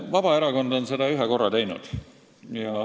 Vabaerakond on seda ühe korra teinud.